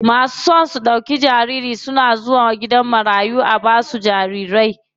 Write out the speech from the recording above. Masu son su ɗauka nauyin jariri suna zuwa gidan jarirai marayu a basu jariri.